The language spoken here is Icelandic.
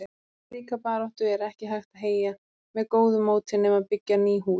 Og slíka baráttu er ekki hægt að heyja með góðu móti nema byggja ný hús.